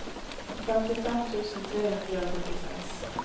femtifem tusen tre hundre og førtiseks